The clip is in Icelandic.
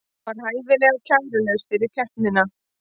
Var hæfilega kærulaus fyrir keppnina